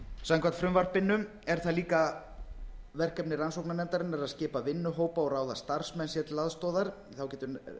samkvæmt frumvarpinu er það líka verkefni rannsóknarnefndarinnar að skipa vinnuhópa og ráða starfsmenn sér til aðstoðar þá getur